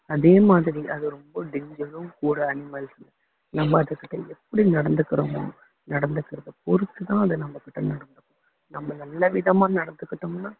அதேமாதிரி அது ரொம்ப danger உம் கூட animals உ நம்ம அதுகிட்ட எப்படி நடந்துக்கிறோமோ நடந்துக்கிறதை பொறுத்துதான் அது நம்மகிட்ட நடக்கும் நம்ம நல்ல விதமா நடந்துக்கிட்டோம்னா